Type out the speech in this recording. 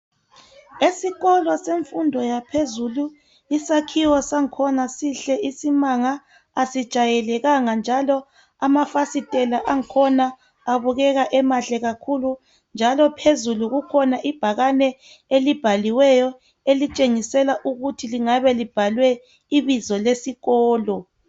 Esikolo semfundo yaphezulu isakhiwo sakhona sihle isimanga asijayelekanga njalo amafasitela angkhona abukeka emahle kakhulu njalo phezulu kukhona ibhakane elibhaliweyo elitshengisa ukuthi lingabe libhalwe ibizo lesikolo